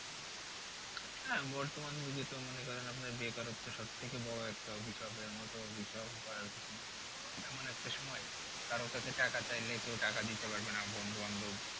হ্যাঁ বর্তমান যুগে তো মনে করেন আপনার বেকারত্ব সব থেকে বড়ো একটা অভিশাপের মতো আর কি নেই মানে, এমন একটা সময় কারো আছে টাকা চাইলে কেউ টাকা দিতে পারবে না বন্ধু বান্ধব